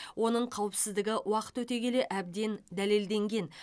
оның қауіпсіздігі уақыт өте келе әбден дәлелденген